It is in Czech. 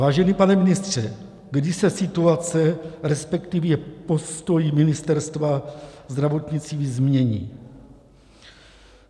Vážený pane ministře, kdy se situace, respektive postoj Ministerstva zdravotnictví změní?